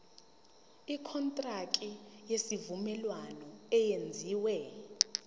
ikontraki yesivumelwano eyenziwe